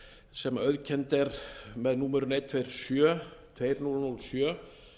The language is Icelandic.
sem auðkennd er með númerinu hundrað tuttugu og sjö tvö þúsund og sjö